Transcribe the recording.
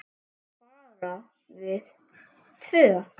Bara við tvö?